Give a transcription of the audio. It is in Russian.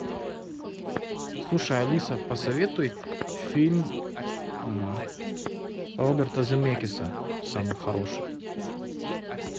слушай алиса посоветуй фильм роберта земекиса самый хороший